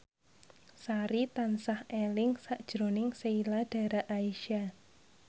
Sari tansah eling sakjroning Sheila Dara Aisha